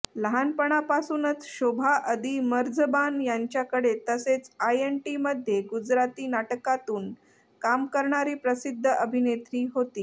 लहानपणापासूनच शोभा अदि मर्झबान यांच्याकडे तसेच आयएनटीमध्ये गुजराती नाटकांतून काम करणारी प्रसिद्ध अभिनेत्री होती